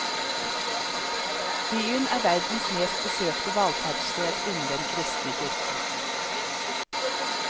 Byen er verdens mest besøkte valfartssted innen den kristne kirke.